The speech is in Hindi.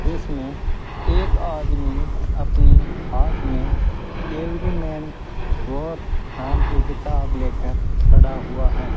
जिसमें एक आदमी अपनी हाथ में एवरी मैन वार नाम के किताब लेकर खड़ा हुआ है।